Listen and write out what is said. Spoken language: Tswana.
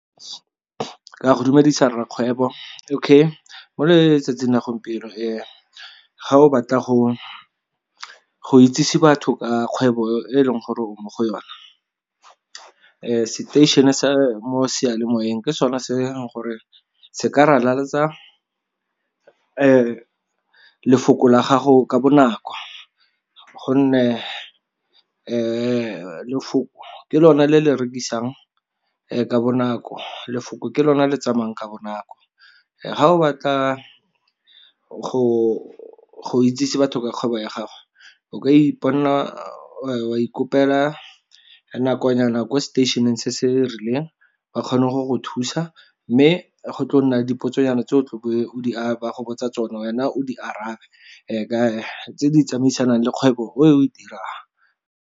Ka go dumedisa rrakgwebo okay, mo letsatsing la gompieno ga o batla go itsisi batho ka kgwebo e e leng gore o mo go yone, seteišene sa mo seyalemoweng ke sone se e leng gore se ka ralaletsa lefoko la gago ka bonako gonne lefoko ke lone le le rekisang ka bonako lefoko ke lone le tsamayang ka bonako. Ga o batla go itsise batho ka kgwebo ya gago o ka iponela, wa ikopela nakonyana ko seteišeneng se se rileng ba kgone go go thusa, mme go tlo nna dipotso nyana tse o tlabeng ba gobatsa tsone wena o di arabe tse di tsamaisanang le kgwebo o dirang.